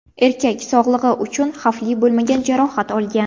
Erkak sog‘lig‘i uchun xavfli bo‘lmagan jarohat olgan.